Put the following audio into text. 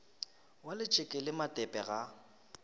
ba letšeke le matepe ga